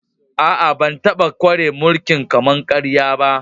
Aa, ban taba kware mulki'n kama-karya ba.